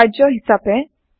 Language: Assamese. কাৰ্য্য হিচাপে